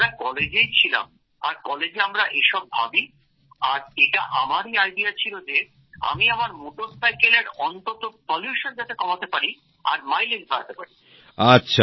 আমরা কলেজেই ছিলাম আর কলেজে আমরা এসব ভাবি আর এটা আমারই আইডিয়া ছিলো যে আমি আমার মোটরসাইকেলের অন্তত দূষণ যাতে কমাতে পারি আর মাইলেজ বাড়াতে পারি